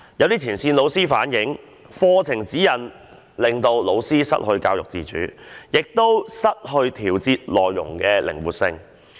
有前線老師反映，課程指引令老師失去教育自主性，亦失去調節內容的靈活性。